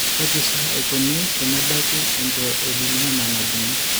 Kaji sa eikoni tenebaki eangioedema najung'i?